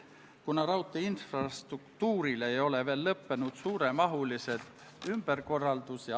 Kas Riigikogu liikmetel on soovi pidada läbirääkimisi?